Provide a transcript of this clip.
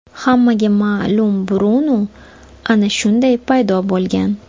Hammaga ma’lum Brunu ana shunday paydo bo‘lgan.